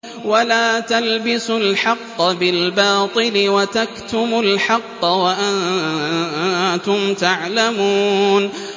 وَلَا تَلْبِسُوا الْحَقَّ بِالْبَاطِلِ وَتَكْتُمُوا الْحَقَّ وَأَنتُمْ تَعْلَمُونَ